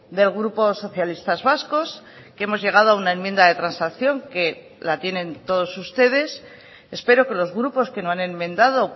del grupo socialistas vascos que hemos llegado a una enmienda de transacción que la tienen todos ustedes espero que los grupos que no han enmendado